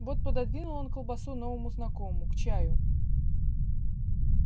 вот пододвинул он колбасу новому знакомому к чаю